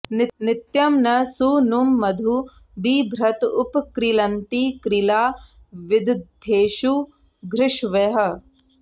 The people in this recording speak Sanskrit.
नित्यं न सूनुं मधु बिभ्रत उप क्रीळन्ति क्रीळा विदथेषु घृष्वयः